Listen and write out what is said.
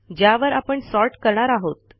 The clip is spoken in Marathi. ज्यावर आपण सॉर्ट करणार आहोत